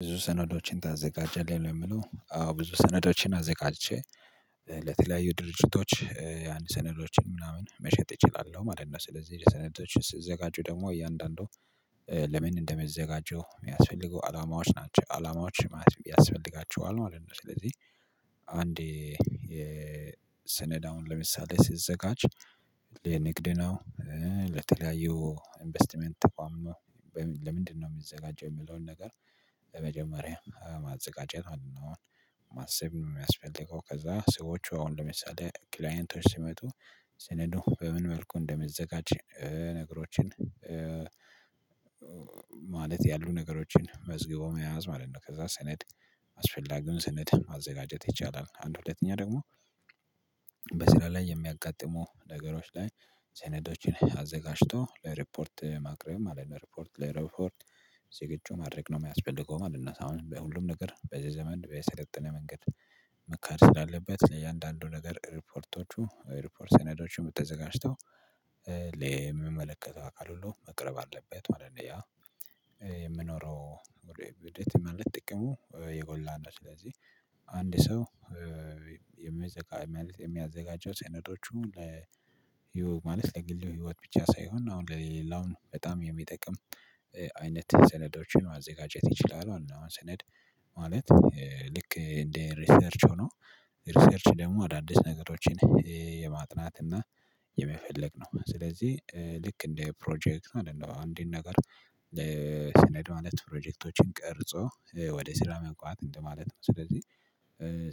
ብዙ ሰነዶችን ታዘጋጃለህ ለሚለው አዎ ብዙ ሰነዶችን አዘጋጅቼ ለተለያዩ ድርጅቶች አንድ ሰነዶችን ምናምን መሸጥ እችላለሁ ማለት ነው። ስለዚህ ሰነዶች ስዘጋጁ ደግሞ እያንዳንዱ ለምን እንደመዘጋጁ የሚያስፈልገው አላማዎች ናቸው አላማዎች ማለት ያስፈልጋቸዋል ማለት ነው። ስለዚህ አንዴ የሰነዳውን ለምሳሌ ሲዘጋጅ ለንግድ ነው ለተለያዩ ኢንቨስትመንት ተቋም ነው። ለምንድነው የሚዘጋጀው የሚለውን ነገር ለመጀመሪያ ማዘጋጀት ማሰብ ነው። የሚያስፈልገው ከዛ ሰዎቹ አሁን ለምሳሌ ክላይንቶች ሲመጡ ሰነዱ በምን መልኩ እንደሚዘጋጅ ነገሮችን ማለት ያሉ ነገሮችን መዝግቦ መያዝ ማለት ነው። ከዛ ሰነድ አስፈላጊውን ሰነድ ማዘጋጀት ይቻላል። አንድ ሁለተኛ ደግሞ በስራ ላይ የሚያጋጥሙ ነገሮች ላይ ሰኔዶችን አዘጋጅቶ ለሪፖርት ማቅረብ ማለት ነው ለሪፖርት ለሪፖርት ዝግጁ ማድረግ ነው የሚያስፈልገው ማለት ነው። አሁን በሁሉም ነገር በዚህ ዘመን በሰለጠነ መንገድ መካድ ስላለበት ለእያንዳንዱ ነገር ሪፖርቶቹ ሪፖርት ሰነዶቹም ተዘጋጅተው ለሚመለከተው አካል ሁሉ መቅረብ አለበት። ዋና ያ የምኖረው የት ማለት ጥቅሙ የጎላ ነው። ስለዚህ አንድ ሰው የሚያዘጋጅ ማለት የሚያዘጋጀው ሰነዶቹ ለ ማለት ለግል ህይወት ብቻ ሳይሆን አሁን ለሌላውን በጣም የሚጠቅም አይነት ሰነዶችን ማዘጋጀት ይችላል ማለት ነው። አሁን ሰነድ ማለት ልክ እንደ ሪሰርች ሆኖ ሪሰርች ደግሞ አዳዲስ ነገሮችን የማጥናት እና የመፈለግ ነው። ስለዚህ ልክ እንደ ፕሮጀክት ማለት ነው። አንድን ነገር ለሰነድ ማለት ፕሮጀክቶችን ቀርጾ ወደ ስራ መግባት እንደማለት ነው። ስለዚህ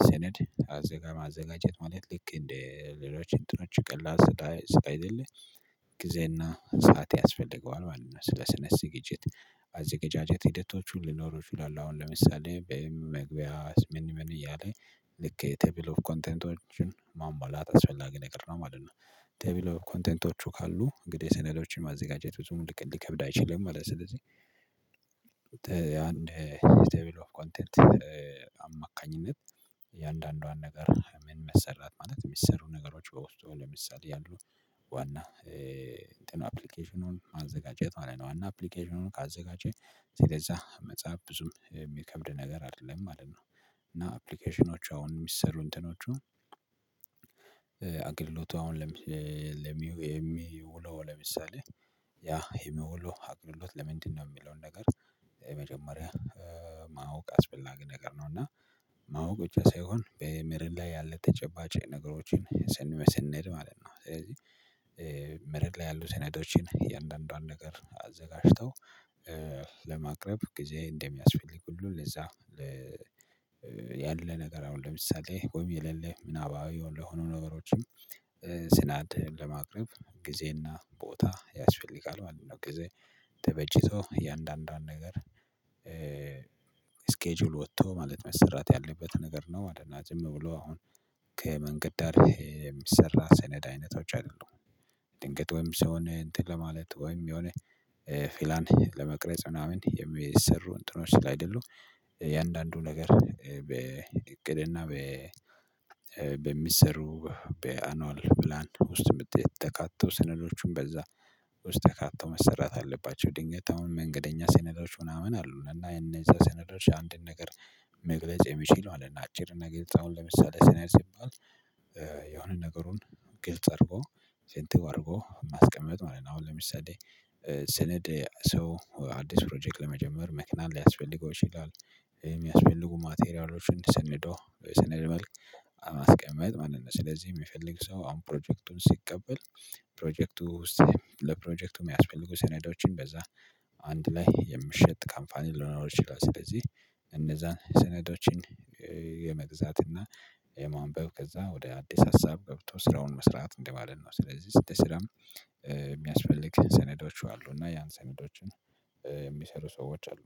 ሰነድ አዘጋ ማዘጋጀት ማለት ልክ እንደ ሌሎችን እንትኖች ቀላ ቀላል ስላይደለ ጊዜና ሰዓት ያስፈልገዋል ማለት ነው። ስለ ስነ ስግጅት አዘጋጃጀት ሂደቶቹ ሊኖሩ ይችላሉ። አሁን ለምሳሌ በመግቢያስ ምን ምን እያለ ልክ የቴብል ኦፍ ኮንቴንቶችን ማሟላት አስፈላጊ ነገር ነው ማለት ነው። ተብሎ ኮንቴንቶቹ ካሉ እንግዲህ ስነዶቹን ማዘጋጀት ብዙም ልክ ሊከብድ አይችልም። ማለት ስለዚህ አንድ ቴብል ኦፍ ኮንቴንት አማካኝነት እያንዳንዷን ነገር ምን መሰራት ማለት የሚሰሩ ነገሮች በውስጡ ለምሳሌ ያሉ ዋና አፕሊኬሽኑን ማዘጋጀት ማለት ነው። ዋና አፕሊኬሽኑን ካዘጋጀን ስለዛ መጽሐፍ ብዙም የሚከብድ ነገር አይደለም ማለት ነው። እና አፕሊኬሽኖች አሁን የሚሰሩ እንትኖቹ አገልግሎቱ አሁን የሚውለው ለምሳሌ ያ ይሄ ነው ብሎ አገልሎት ለምንድነው የሚለውን ነገር የመጀመሪያ ማወቅ አስፈላጊ ነገር ነው። እና ማወቅ ብቻ ሳይሆን በመሬት ላይ ያለ ተጨባጭ ነገሮችን ስንመስል ማለት ነው። ስለዚህ መሬት ላይ ያሉ ሴነዶችን የእንደአንዷን ነገር አዘጋጅተው ለማቅረብ ጊዜ እንደሚያስፈልግ ሁሉ ለዛ ያለ ነገር አሁን ለምሳሌ ቆሜ የሌለ ምናባዊ ለሆኑ ነገሮችም ስናድ ለማቅረብ ጊዜና ቦታ ያስፈልጋል ማለት ነው። ጊዜ ተበጅቶ አንዳንዷን ነገር ስኬጁል ወጥቶ ማለት መሰራት ያለበት ነገር ነው ማለት ነው። ዝም ብሎ አሁን ከመንገድ ዳር የሚሰራ ሰነድ አይነቶች አሉ። ድንገት ወይም ሰውን እንትን ለማለት ወይም የሆነ ፕላን ለመቅረጽ ምናምን የሚሰሩ እንትኖች ስላይደሉ የአንዳንዱ ነገር በእቅድና በሚሰሩ በአኑአል ፕላን ውስጥ የምት ተካተው ስነዶቹን በዛ ውስጥ ተካተው መሰራት አለባቸው። ድንገት አሁን መንገደኛ ሰነዶች ምናምን አሉ እና የነዛ ሰነዶች አንድን ነገር መግለጽ የሚችለው አለ። እና አጭር ነገር አሁን ለምሳሌ ሰነድ ሲባል የሆነ ነገሩን ግልጽ አድርጎ ፍንትው አድርጎ ማስቀመጥ ማለት ነው። አሁን ለምሳሌ ሰነድ ሰው አዲስ ፕሮጀክት ለመጀመር መኪናም ሊያስፈልገው ይችላል። የሚያስፈልጉ ማቴሪያሎችን ሰንዶ በሰነድ መልክ ማስቀመጥ ማለት ነው። ስለዚህ የሚፈልግ ሰው አሁን ፕሮጀክቱን ሲቀበል ፕሮጀክቱ ውስጥ ለፕሮጀክቱ የሚያስፈልጉ ሰኔዳዎችን በዛ አንድ ላይ የሚሸጥ ካምፓኒ ሊኖረው ይችላል። ስለዚህ እነዛን ሰነዶችን የመግዛትና የማንበብ ከዛ ወደ አዲስ ሀሳብ ገብቶ ስራውን መስራት እንደማለት ነው። ስለዚህ ስትል ስራም የሚያስፈልግ ሰነዶቹ አሉ እና ያን ሰነዶችን የሚሰሩ ሰዎች አሉ